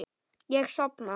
Ég sofna.